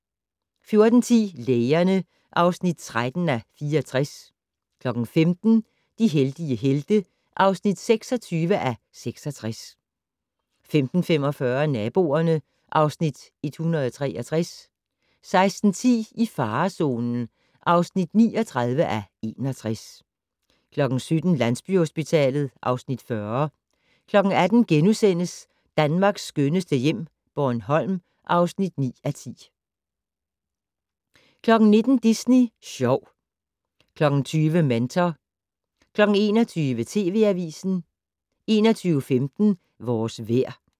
14:10: Lægerne (13:64) 15:00: De heldige helte (26:66) 15:45: Naboerne (Afs. 163) 16:10: I farezonen (39:61) 17:00: Landsbyhospitalet (Afs. 40) 18:00: Danmarks skønneste hjem - Bornholm (9:10)* 19:00: Disney Sjov 20:00: Mentor 21:00: TV Avisen 21:15: Vores vejr